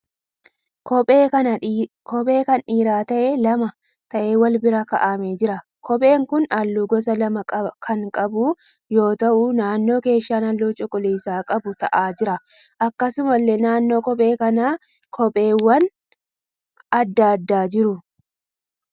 Kophee kan dhiiraa ta'ee lama ta'ee wal bira ka'aamee jira. Kopheen kun halluu gosa lama kan qabu yoo ta'u naannoo keeshaan halluu cuquliisa qabu ta'aa jira. Akkasumallee naannoo kophee kanaa kopheewwan adda addaa jiru.